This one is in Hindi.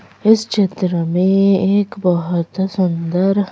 इस चित्र में एक बहुत सुंदर--